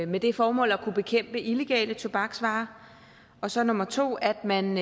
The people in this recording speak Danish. med det formål at kunne bekæmpe illegale tobaksvarer og som nummer to at man